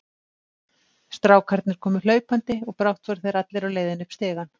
Strákarnir komu hlaupandi og brátt voru þeir allir á leiðinni upp stigann.